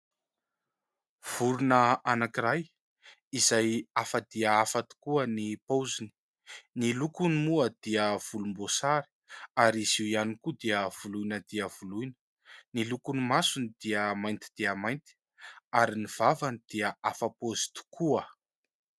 Vorona anankiray izay afa dia afa tokoa ny paoziny ny lokony moa dia volombosary ary izy io ihany koa dia volohina dia volohina, ny lokony masony dia mainty dia mainty ary ny vavany dia afa paozy tokoa.